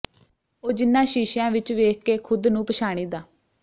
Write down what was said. ਉਹ ਜਿਹਨਾਂ ਸ਼ੀਸ਼ਿਆਂ ਵਿਚ ਵੇਖ ਕੇ ਖ਼ੁਦ ਨੂੰ ਪਛਾਣੀ ਦਾ